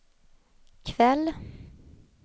kväll